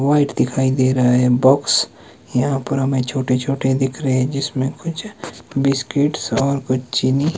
White दिखाई दे रहा है बॉक्स यहां पर हमें छोटे छोटे दिख रहे है जिसमें कुछ बिस्किट्स और कुछ चीनी।